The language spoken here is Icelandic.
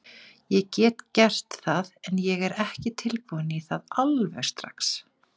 Ég get gert það, en ég er ekki tilbúinn í það alveg strax.